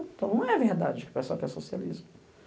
Então não é verdade que o pessoal quer socialismo.